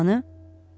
Yuxu dərmanı?